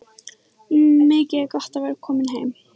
Mikið er gott að vera komin heim!